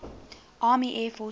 army air forces